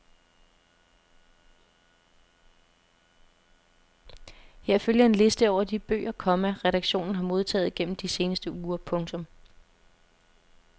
Her følger en liste over de bøger, komma redaktionen har modtaget gennem de seneste uger. punktum